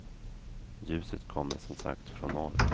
Ljuset kommer som sagt från norr.